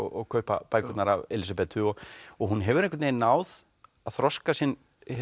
og kaupa bækurnar af Elísabetu hún hefur einhvern veginn náð að þroska sinn